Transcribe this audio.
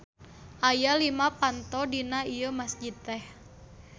Aya lima panto dina ieu masjid teh.